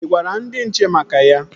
Ị gwara ndị nche maka ya?